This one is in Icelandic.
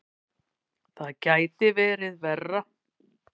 Það gæti verið verra.